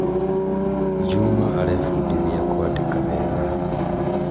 Juma arebundithia kwandĩka wega